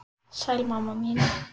Sæl, mamma mín.